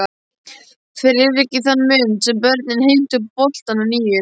Friðrik í þann mund sem börnin heimtu boltann að nýju.